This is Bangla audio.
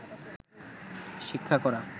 শিক্ষা করা